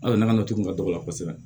An ka nakɔ nacogo ka dɔgɔ kosɛbɛ